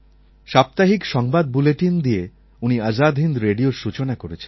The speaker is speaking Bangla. সাপ্তাহিক সংবাদ বুলেটিন দিয়ে উনি আজাদ হিন্দ রেডিওর সূচনা করেছিলেন